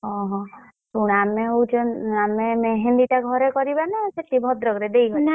ଓହୋ, ଶୁଣୁ ଆମେ ହଉଛି ଆମେ मेहँदी ଟା ଘରେ କରିବା ନା ସେଠି ଭଦ୍ରକ ରେ କରିବା ଦେଇ ଘରେ କରିବା?